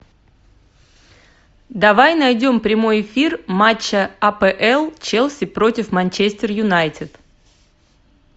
давай найдем прямой эфир матча апл челси против манчестер юнайтед